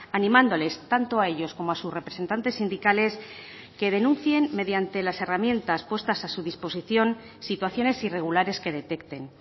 animándoles tanto a ellos como a sus representantes sindicales que denuncien mediante las herramientas puestas a su disposición situaciones irregulares que detecten